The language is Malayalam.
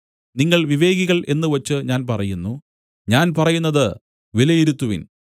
നിങ്ങൾ വിവേകികൾ എന്നുവച്ച് ഞാൻ പറയുന്നു ഞാൻ പറയുന്നത് വിലയിരുത്തുവിൻ